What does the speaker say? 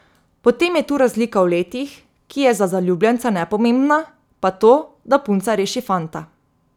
Potem je tu razlika v letih, ki je za zaljubljenca nepomembna, pa to, da punca reši fanta.